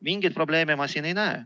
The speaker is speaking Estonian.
Mingeid probleeme ma siin ei näe.